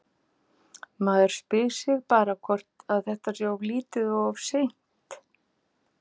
Maður spyr sig bara hvort að þetta sé of lítið og of seint?